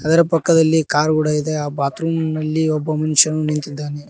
ಇದರ ಪಕ್ಕದಲ್ಲಿ ಕಾರ್ ಕೂಡ ಇದೆ ಆ ಬಾತ್ ರೂಮಲ್ಲಿ ಒಬ್ಬ ಮನುಷ್ಯನು ನಿಂತಿದ್ದಾನೆ.